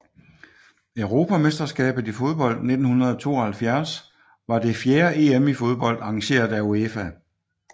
Europamesterskabet i fodbold 1972 var det fjerde EM i fodbold arrangeret af UEFA